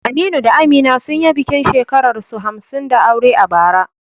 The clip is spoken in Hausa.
Aminu da Amina sun yi bikin shekararsu hamsin da aure a bara.